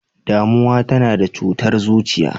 Damuwa tana sa cutar zuciya.